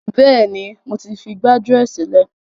Bẹ́ẹ̀ni, mo ti fi gbájúẹ̀ sílẹ̀.